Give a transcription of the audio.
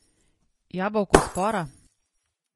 Jabolko spora?